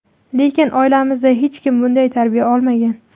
Lekin oilamizda hech kim bunday tarbiya olmagan.